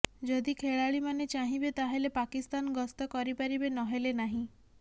ଯଦି ଖେଳାଳିମାନେ ଚାହିଁବେ ତାହେଲେ ପାକିସ୍ତାନ ଗସ୍ତ କରିପାରିବେ ନହେଲେ ନାହିଁ